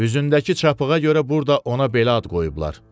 Üzündəki çapığa görə burda ona belə ad qoyublar.